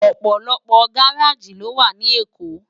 Òpòlòpò gáráji ló wá ni Ékó